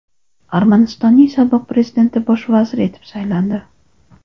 Armanistonning sobiq prezidenti bosh vazir etib saylandi.